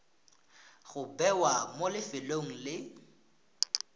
go bewa mo lefelong le